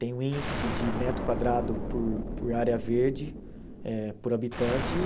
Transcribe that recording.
Tem um índice de metro quadrado por por área verde eh por habitante e...